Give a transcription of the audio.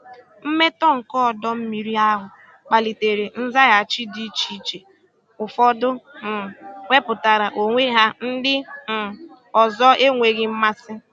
Mmetọ nke ọdọ mmiri ahụ kpalitere nzaghachi dị iche iche—ụfọdụ um wepụtara onwe ha, ndị um ọzọ enweghị mmasị.